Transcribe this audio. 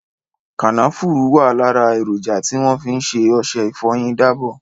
Kànáfùrù wà lára èròjà tí wọ́n fi ṣe ọṣẹ ìfọyín dábọ̀.